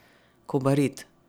Kobarid.